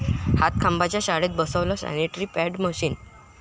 हातखंबाच्या शाळेत बसवलं sanitary pad vending machine